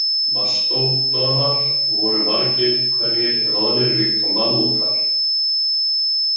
Mastódonar voru margir hverjir loðnir líkt og mammútar.